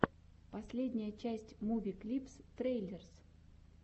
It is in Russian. последняя часть муви клипс трейлерс